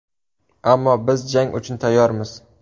Ammo biz jang uchun tayyormiz.